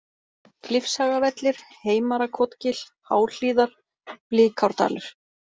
Klifshagavellir, Heimarakotgil, Háhlíðar, Blikárdalur